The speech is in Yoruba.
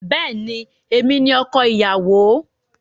Bẹ́ẹ̀ni, èmi ni ọkọ ìyàwó.